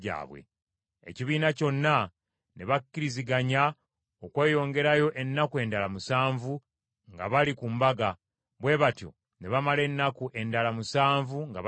Ekibiina kyonna ne bakkiriziganya okweyongerayo ennaku endala musanvu nga bali ku mbaga; bwe batyo ne bamala ennaku endala musanvu nga bajaguza.